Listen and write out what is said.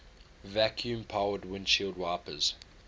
vacuum powered windshield wipers